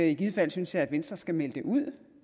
i givet fald synes jeg at venstre skal melde det ud